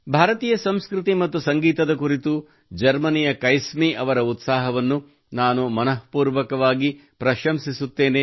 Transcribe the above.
ಭಾರತೀಯ ಸಂಸ್ಕೃತಿ ಮತ್ತು ಸಂಗೀತದ ಕುರಿತು ಜರ್ಮನಿಯ ಕೈಸ್ಮಿ ಅವರ ಉತ್ಸಾಹವನ್ನು ನಾನು ಮನಃಪೂರ್ವಕವಾಗಿ ಪ್ರಶಂಸಿಸುತ್ತೇನೆ